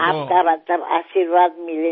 तुमचे आशीर्वाद मिळाले तर